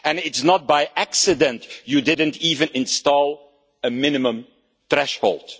It is not by accident that you did not even install a minimum threshold.